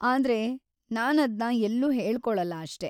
ಆದ್ರೆ, ನಾನದ್ನ ಎಲ್ಲೂ ಹೇಳ್ಕೊಳಲ್ಲ ಅಷ್ಟೇ.